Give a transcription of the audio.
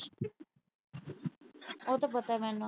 ਉਹ ਤਾਂ ਪਤਾ ਮੈਨੂੰ।